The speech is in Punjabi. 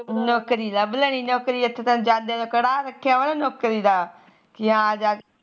ਨੋਕਰੀ ਲੱਭ ਲੈਣੀ ਐਥੇ ਤੈਨੂੰ ਜੱਜ ਨੇ ਕੜਾਹ ਰੱਖਿਆਵਾ ਨਾ ਨੋਕਰੀ ਦਾ ਪੀ ਹਾ